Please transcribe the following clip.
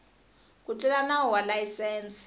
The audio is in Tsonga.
ku tlula nawu wa layisense